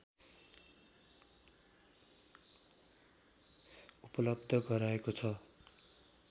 उपलब्ध गराएको छ